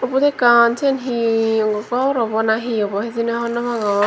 ubot ekkan sen hee obo gor obo na hi obo hijeni honno pangor.